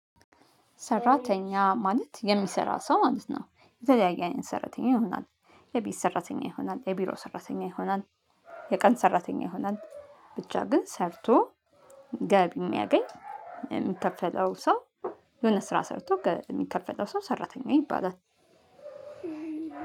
ሰራተኛ ማለት የሚሰራ ሰው ማለት ነው የተለያየ ሰራተኛ ይሆናል። የቤት ሰራተኛ ይሆናል የቢሮ ሰራተኛ ይሆናል። የቀን ሰራተኛ ይሆናል ብቻ ግን ሰርቶ ገቢ የሚያገኝ የሚከፈለው ሰው። የሆነ ስራ ሰርቶ የሚከፈለው ሰው ሰራተኛ ይባላል።